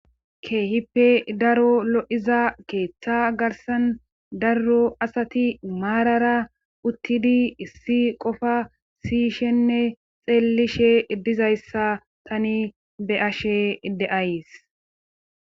keehippe daro lo7iza keeththa garsan darro asati maarara uttidi issi qofa siyishenne xeellishe dizayssa tani be ashe ideays